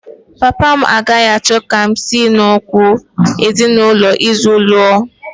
Papa m agaghị achọ ka m si n’okpukpe ezinụlọ ọzọ lụọ